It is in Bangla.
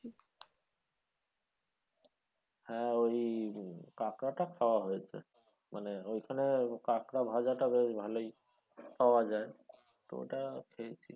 হ্যাঁ ওই কাঁকড়াটা খাওয়া হয়েছে মানে ওইখানে কাঁকড়া ভাজাটা বেশ ভালোই পাওয়া যায় তো ওটা খেয়েছি।